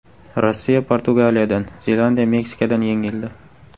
Rossiya Portugaliyadan, Zelandiya Meksikadan yengildi.